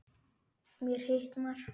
Mér hitnar.